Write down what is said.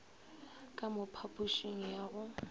ka mo phapošing ya go